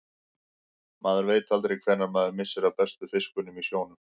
Maður veit aldrei hvenær maður missir af bestu fiskunum í sjónum.